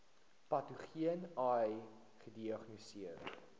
patogene ai gediagnoseer